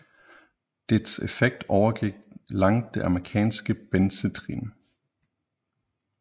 Dets effekt overgik langt det amerikanske benzedrin